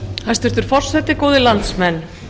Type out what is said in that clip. hæstvirtur forseti góðir landsmenn